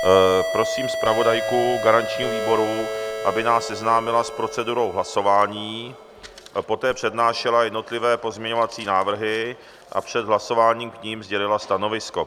Prosím zpravodajku garančního výboru, aby nás seznámila s procedurou hlasování, poté přednášela jednotlivé pozměňovací návrhy a před hlasováním k nim sdělila stanovisko.